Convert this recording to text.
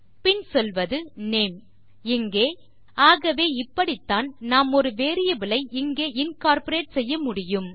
பின் சொல்வது நேம் இங்கே ஆகவே இப்படித்தான் நாம் ஒரு வேரியபிள் ஐ இங்கே இன்கார்ப்பரேட் செய்ய முடியும்